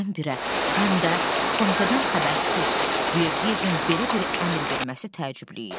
Birdən-birə, həm də komitədən xəbərsiz Verdiyevin belə bir əmr verməsi təəccüblü idi.